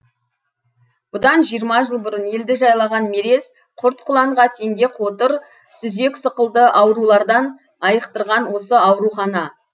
бұдан жиырма жыл бұрын елді жайлаған мерез құрт құланға теңге қотыр сүзек сықылды аурулардан айықтырған осы аурухана